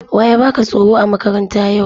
Wa ya baka tsoro a makaranta yau?